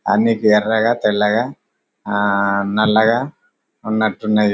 అన్ని ఎర్రగా తెల్లగా ఆ నల్లగా ఉన్నటు ఉన్నది --